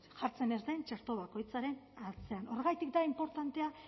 jartzen ez den txertoa bakoitzaren atzean horregatik da inportantea